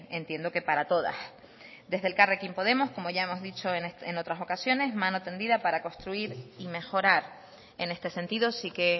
entiendo que para todas desde elkarrekin podemos como ya hemos dicho en otras ocasiones mano tendida para construir y mejorar en este sentido sí que